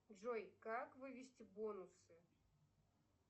джой как вывести бонусы